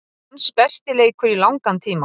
Hans besti leikur í langan tíma.